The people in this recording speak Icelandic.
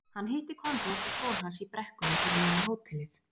Hann hitti Konráð og son hans í brekkunni fyrir neðan hótelið.